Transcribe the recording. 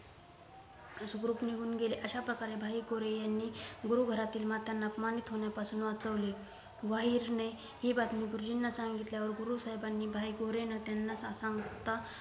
सुखरूप निघून गेले अशा प्रकारे भाई गोरे यांनी गुरु घरातील मातांना अपमानित होण्यापासून वाचविले वाहिरने हि बातमी गुरुजींना सांगितल्यावर गुरु साहेबांनी भाई गोरेंना त्यांना सांगता